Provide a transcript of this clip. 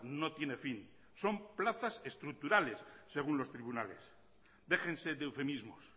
no tiene fin son plazas estructurales según los tribunales déjense de eufemismos